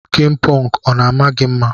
Skin punk ọna ama gi mma.